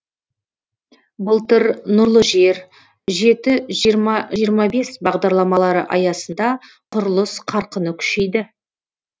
былтыр нұрлы жер жеті жиырма жиырма бес бағдарламалары аясында құрылыс қарқыны күшейді